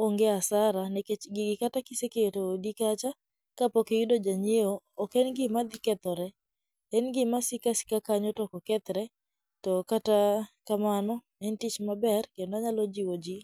onge asara nikech gigi kata kiseketo odi kacha ka pok iyudo ja nyieo, ok en gima dhi kethore. En gima siko asika kanyo to ok okethre to kata kamano en tich maber kendo anyalo jiwo ji.